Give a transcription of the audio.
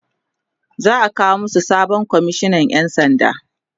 za'a kawo masu sabon komishinan ƴan sanda